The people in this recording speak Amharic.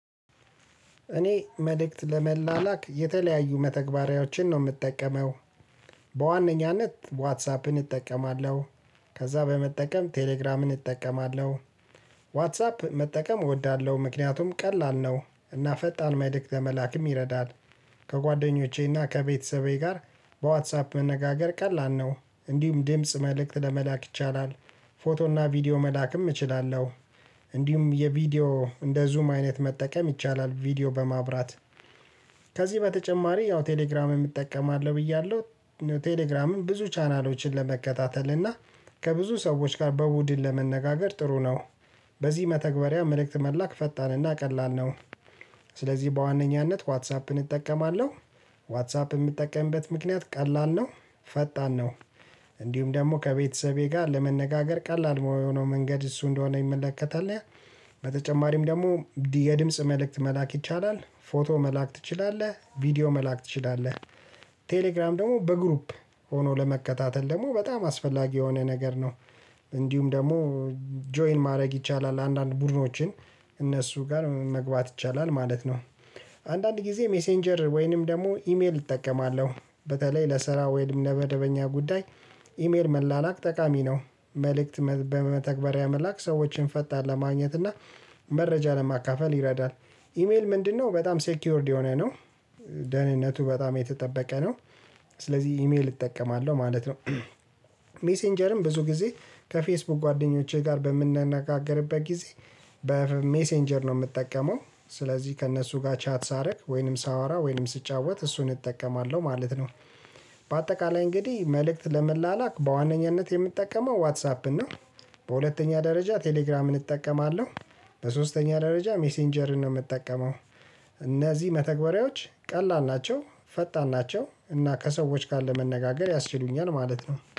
እኔ መልክት ለመላላክ የተለያዩ መተግበሪያዎችን ነው ምጠቀመው። በዋነኛነት ዋትሳፕን እጠቀማለሁ ከዛ በመጠቀም ቴሌግራምን እጠቀማለሁ። ዋትሳፕ መጠቀም እወዳለሁ ምክንያቱም ቀላል ነው እና ፈጣን መልክት ለመላክም ይረዳል። ከጓደኞቼና ከቤተሰቤ ጋር በዋትሳፕ መነጋገር ቀላል ነው እንዲሁም ድምጽ መልእክት ለመላክ ይቻላል። ፎቶና ቪዲዮ መላክም እችላለሁ። እንዲሁም የቪዲዮ እንደ ዙም አይነት መጠቀም ይቻላል ቪዲዮ በማብራት። ከዚህ በተጨማሪ ያው ቴሌግራምም እጠቀማለሁ ብያለሁ ቴሌግራምም ብዙ ቻናሎችን ለመከታተል እና ከብዙ ሰዎች ጋር በቡድን ለመነጋገር ጥሩ ነው። በዚህ መተግበሪያ መልእክት መላክ ፈጣንና ቀላል ነው። ስለዚህ በዋነኛነት ዋትሳፕን እጠቀማለሁ። ዋትሳፕ ምጠቀምበት ምክንያት ቀላል ነው ፈጣን ነው እንዲሁም ደሞ ከቤተሰቤ ጋር ለመነጋገር ቀላል የሆነው መንገድ እሱ እንደሆነ ይመለከታል። በተጨማሪም ደግሞ የድምጽ መልእክት መላክ ይቻላል ፎቶ መላክ ትችላለህ ቪዲዮ መላክ ትችላለህ። ቴሌግራም ደግሞ በግሩፕ ሆኖ ለመከታተል ደግሞ በጣም አስፈላጊ የሆነ ነገር ነው። እንዲሁም ደግሞ ጆይን ማድረግ ይቻላል አንዳንድ ቡድኖችን እነሱ ጋር መግባት ይቻላል ማለት ነው። አንዳንድ ጊዜ ሜሴንጀር ወይንም ደግሞ ኢሜል እጠቀማለሁ። በተለይ ለስራ ወይም ለመደበኛ ጉዳይ ኢሜል መላላክ ጠቃሚ ነው። መልእክት በመተግበሪያ መላክ ሰዎችን ፈጣን ለማግኘት እና መረጃ ለማካፈል ይረዳል። ኢሜል ምንድነው በጣም ሴኪዩርድ የሆነ ነው። ደህንነቱ በጣም የተጠበቀ ነው። ስለዚህ ኢሜል እጠቀማለሁ ማለት ነው። ሜሴንጀርም ብዙ ጊዜ ከፌስቡክ ጓደኞቼ ጋር በምንናገጋርበት ጊዜ በሜሴንጀር ነው ምጠቀመው። ስለዚህ ከእነሱ ጋር ቻት ሳደርግ ወይንም ሳወራ ወይንም ስጫወት እሱን እጠቀማለሁ ማለት ነው። በአጠቃላይ እንግዲህ መልእክት ለመላላክ በዋነኛነት የምጠቀመው ዋትሳፕ ነው። በሁለተኛ ደረጃ ቴሌግራምን እጠቀማለሁ። በሶስተኛ ደረጃ ሜሴንጀርን ነው የምጠቀመው። እነዚ መተግበሪያዎች ቀላል ናቸው። ፈጣን ናቸው እና ከሰዎች ጋር ለመነጋገር ያስችሉኛል ማለት ነው